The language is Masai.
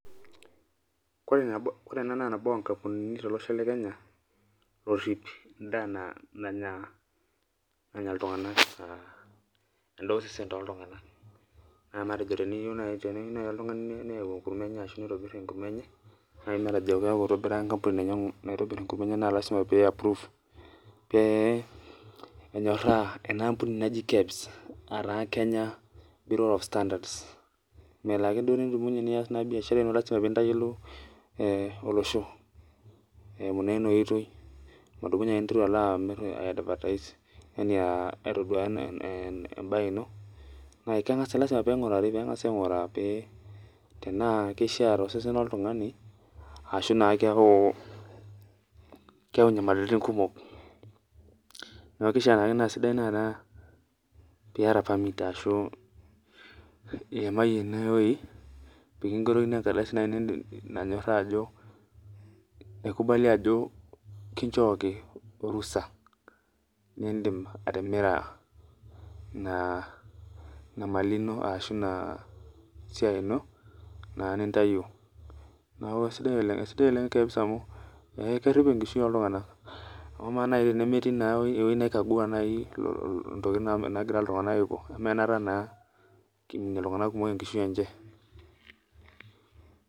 Ore ena naa nabo onkampunini tolosho lekenya narip endaa nanya ltunganak endaa osesen toltunganak. matejo teneyiou naaji oltungani neyau ashu neitobir enkurma enye naaji matejo eitobira enkampuni enye naitobir enkurma naa lasima pee eapprove pee enyoraa ena ambunai naji KEBS melo duake naaji nidumunye nias biashara ino lasima pee intayiolo olosho eimu naa ina oitoi, nidumunye ake nilo aiteru aitoduaya embae ino lasima pee enagi ainguraa tena kishaa tosesen loltungani ashu mbaa keyau nyamalitin kumok .neeku kishaa naake niyata permit ashu iimayie eweji pee kingerokini ekardasi naaji nanyooraa ajo eikubali ajo kinchooki orusa lindim atimira ina mali ino ashu ina siai ino naa nintayio neeku keisidai oleng ,neeku keisidai oleng amu kerip enkishui oltunganak .paa ama naa tenemetii eweji neikagua ntokiting naagira ltunganak aiko pee eme naata naa eiminie ltunganak kumok enkishui enje.